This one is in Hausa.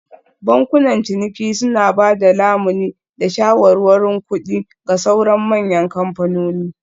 Bankunan ciniki suna ba da lamuni da shawarwarin kuɗi ga sauran manyan kamfanoni